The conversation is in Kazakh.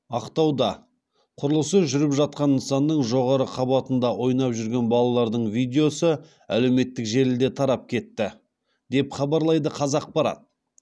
ақтауда құрылысы жүріп жатқан нысанның жоғары қабатында ойнап жүрген балалардың видеосы әлеуметтік желіде тарап кетті деп хабарлайды қазақпарат